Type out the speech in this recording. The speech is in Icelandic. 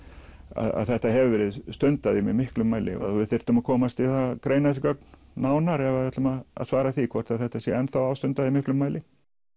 að þetta hefur verið stundað í miklum mæli við þyrftum að komast í að greina þessi gögn nánar ef við ætluðum að svara því hvort þetta sé enn ástundað í miklum mæli